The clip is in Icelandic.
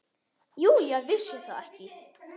Júlía vissi það ekki.